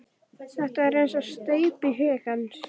Þetta var eins og steypt í huga hans.